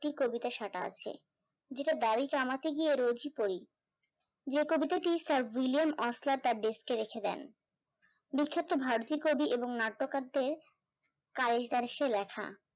একটি কবিতা সাঁটা আছে যেটা দাড়ি কমাতে গিয়ে রোজই পড়ি, যে কবিতাটি sir উইলিয়াম তার desk এ রেখে দেন, লিখে তো কবি এবং নাট্যকারদের লেখা